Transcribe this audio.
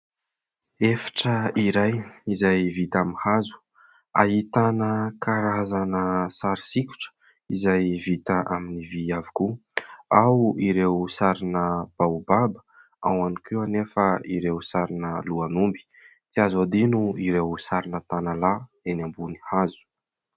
Efitra iray izay vita amin'ny hazo. Ahitana karazana sary sikotra izay vita amin'ny vy avokoa ; ao ireo sarina baobaba ao ihany koa anefa ireo sarina lohan'omby. Tsy azo adino ireo sarina tanalahy eny ambony hazo.